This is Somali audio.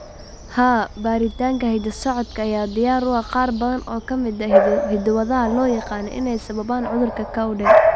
Haa, baaritaanka hidda-socodka ayaa diyaar u ah qaar badan oo ka mid ah hiddo-wadaha loo yaqaan inay sababaan cudurka Cowden.